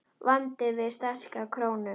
Vandinn við sterka krónu